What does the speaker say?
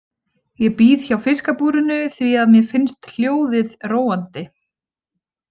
Ég bíð hjá fiskabúrinu því að mér finnst hljóðið róandi.